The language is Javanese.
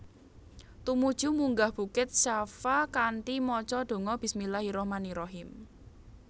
Tumuju munggah bukit Shafa kanthi maca donga Bismillahirrahmanirrahim